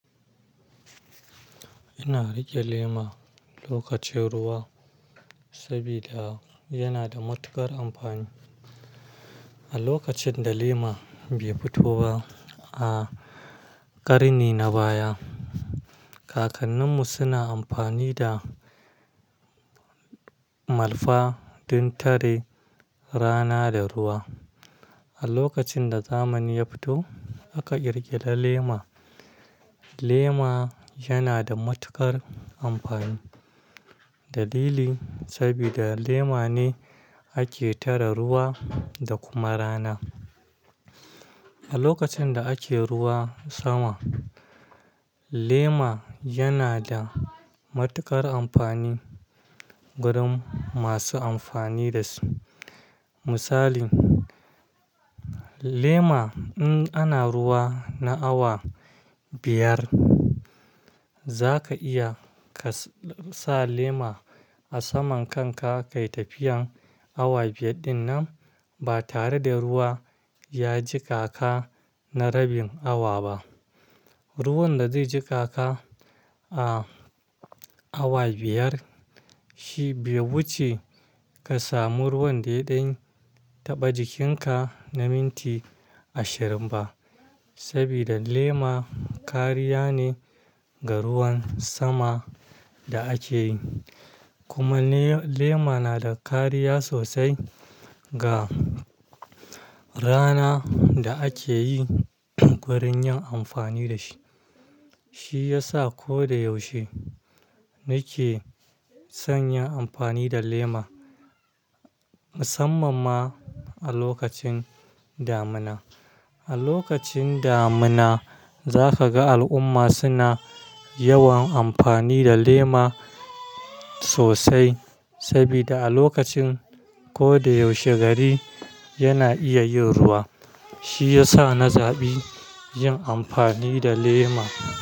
Ina riƙe lema lokacin ruwa sabida yana da matuƙar amfani. A lokacin da lema bai fito ba a ƙarni na baya, kakanninmu suna amfani da malfa don tare rana da ruwa. A lokacin da zamani ya fito aka ƙirƙira lema. Lema yana da matuƙar amfani. Dalili sabida lema ne ake tare ruwa da kuma rana. A lokacin da ake ruwa sama, lema yana da matuƙar amfani gurin masu amfani da shi. Misali, lema in ana ruwa na awa biyar za ka iya ka sa lema a saman kanka ka yi tafiyan awa biyar dinnan ba tare da ruwa ya jiƙa ka na rabin awa ba. Ruwan da zai jiƙa ka a awa biyar shi bai wuce ka samu ruwan da yaɗan taɓa jikinka na minti ashirin ba sabida lema kariya ne ga ruwan sama da ake yi. Kuma lema na da kariya sosai ga rana da ake yi wurin yin amfani da shi. Shi ya sa ko da yaushe nake son yin amfani da lema musamman ma a lokacin damina. A lokacin damina za ka ga al'umma suna yawan amfani da lema sosai sabida a lokacin ko da yaushe gari yana iya yin ruwa. Shi ya sa na zaɓi yin amfani da lema.